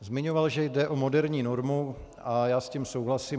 Zmiňoval, že jde o moderní normu a já s tím souhlasím.